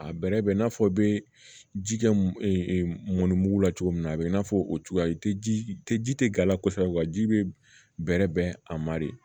A bɛrɛ bɛ i n'a fɔ i bɛ ji kɛ mɔnnimugu la cogo min na a bɛ i n'a fɔ o cogoya i tɛ ji tɛ ji tɛ g'a la kosɛbɛ ji bɛrɛ bɛn a ma de